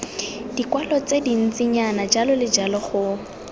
dikwalo tse dintsinyana jljl go